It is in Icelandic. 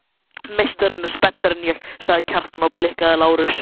Meistarinn er spenntari en ég, sagði Kjartan og blikkaði Lárus.